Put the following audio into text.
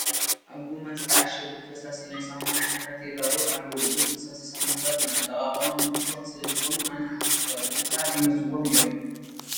ኣብ ጐማ ዝተዓሸጉ ፈሳሲ ናይ ሳሙና ዓይነታት ይርአዩ ኣለዉ፡፡ እዞም ፈሳሲ ሳሙናታት ንኣጠቓቕማ ምችዋት ስለዝኾኑ ኣነ ሓዊሱ ካልኦት ብዙሓት ይመርፅዎም እዮም፡፡